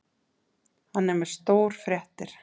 Hann er með stórfréttir.